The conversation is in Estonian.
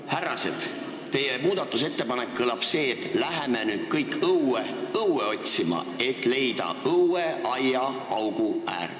Härrased, teie muudatusettepanek kõlab nii, et läheme nüüd kõik õue õue otsima, et leida õueaiaauguäär.